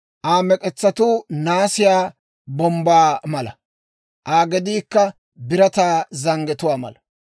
Aa mek'etsatuu naasiyaa bombbaa mala; Aa gediikka birataa zanggetuwaa mala.